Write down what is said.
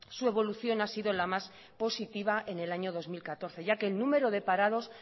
su evolución ha sido la más positiva en el año dos mil catorce ya que el número de parados